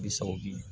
Bi sawo di